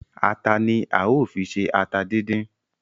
Ata ni a ó fi ṣe ata díndín